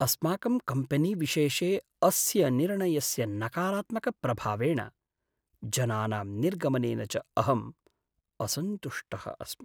अस्माकं कम्पेनीविशेषे अस्य निर्णयस्य नकारात्मकप्रभावेण, जनानां निर्गमनेन च अहं असन्तुष्टः अस्मि।